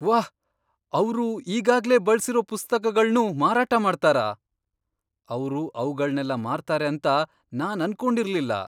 ವಾಹ್! ಅವ್ರು ಈಗಾಗ್ಲೇ ಬಳ್ಸಿರೋ ಪುಸ್ತಕಗಳ್ನೂ ಮಾರಾಟ ಮಾಡ್ತಾರಾ? ಅವ್ರು ಅವ್ಗಳ್ನೆಲ್ಲ ಮಾರ್ತಾರೆ ಅಂತ ನಾನ್ ಅನ್ಕೊಂಡಿರ್ಲಿಲ್ಲ.